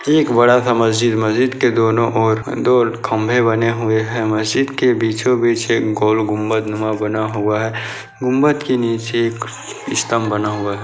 ये एक बड़ा-सा मस्जिद मस्जिद के दोनों ओर दो खम्बे बने हुए हैं मस्जिद के बीचों-बीच एक गोल गुम्बदनुमा बना हुआ है गुम्बद के नीचे एक स्तंभ बना हुआ है।